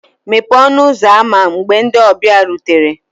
Mepee ọnụ ụzọ ámá mgbe ndị ọbịa rutere